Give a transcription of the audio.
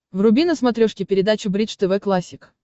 вруби на смотрешке передачу бридж тв классик